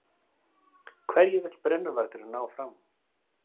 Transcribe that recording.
Hverju vill brennuvargurinn ná fram?